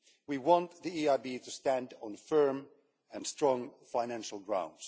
We want the EIB to stand on firm and strong financial ground.